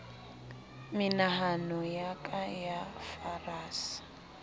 menahano ya ka ya farasa